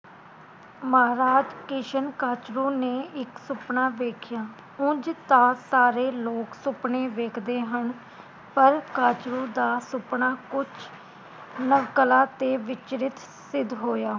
ਮਹਾਰਾਜ ਕਿਸ਼ਨ ਕੱਛਰੂ ਨੇ ਇਕ ਸੁਪਨਾ ਵੇਖਿਆ ਉਂਝ ਤਾ ਸਾਰੇ ਲੋਕ ਸੁਪਨੇ ਵੇਖਦੇ ਹਨ ਪਰ ਕੱਛਰੂ ਦਾ ਸੁਪਨਾ ਕੁਝ ਨਵਕਲਾ ਤੇ ਵਿਚਰਿਤ ਸਿੱਧ ਹੋਇਆ